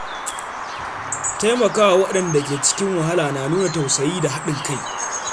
Taimakawa waɗanda ke cikin wahala na nuna tausayi da haɗin kai.